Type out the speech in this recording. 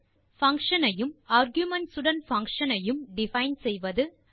function ஐ யும் arguments உடன் பங்ஷன் ஐ யும் டிஃபைன் செய்வது